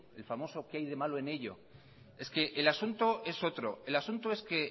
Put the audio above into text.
el famoso qué hay de malo en ello es que el asunto es otro el asunto es que